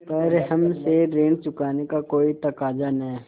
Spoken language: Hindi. पर हमसे ऋण चुकाने का कोई तकाजा न